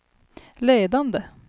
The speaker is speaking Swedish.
ledande